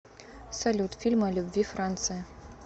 салют фильмы о любви франция